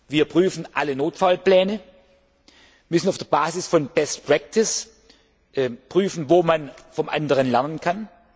Wir prüfen alle Notfallpläne, wir müssen auf der Basis von best practice prüfen, wo man vom anderen lernen kann